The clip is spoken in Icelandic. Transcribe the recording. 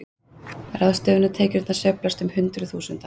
Ráðstöfunartekjurnar sveiflast um hundruð þúsunda